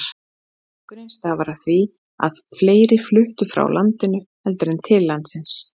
Fækkunin starfar af því að fleiri fluttu frá landinu heldur en til landsins.